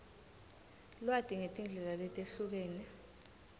lwati ngetindlela letehlukene